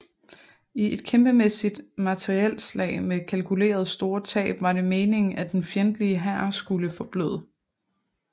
I et kæmpemæssigt materielslag med kalkulerede store tab var det meningen at den fjendtlige hær skulle forbløde